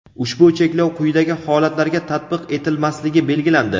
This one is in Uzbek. Ushbu cheklov quyidagi holatlarga tatbiq etilmasligi belgilandi:.